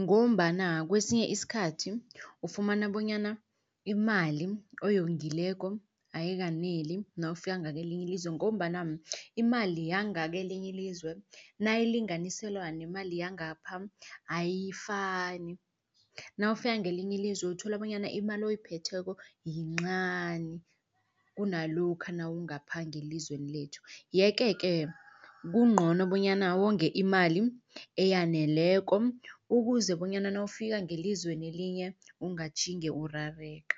Ngombana kwesinye isikhathi ufumana bonyana imali oyongileko ayikaneli nawufika ngakwelinye ilizwe ngombana imali yangakelinye ilizwe nayilinganiselwa nemali yangapha ayifani. Nawufika ngakelinye izwe uthola bonyana imali oyiphetheko yincani kunalokha nawungapha ngelizweni lethu. Yeke-ke kungcono bonyana wonge imali eyaneleko ukuze bonyana nawufika ngelizweni elinye ungatjhinge urareka.